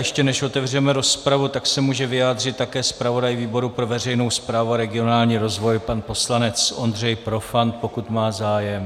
Ještě než otevřeme rozpravu, tak se může vyjádřit také zpravodaj výboru pro veřejnou správu a regionální rozvoj pan poslanec Ondřej Profant, pokud má zájem.